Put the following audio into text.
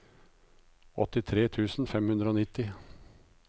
åttitre tusen fem hundre og nitti